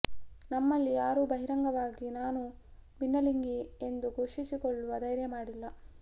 ನಮ್ಮಲ್ಲಿ ಯಾರೂ ಬಹಿರಂಗವಾಗಿ ನಾನು ಭಿನ್ನಲಿಂಗಿ ಎಂದು ಘೋಷಿಸಿಕೊಳ್ಳುವ ಧೈರ್ಯ ಮಾಡಿಲ್ಲ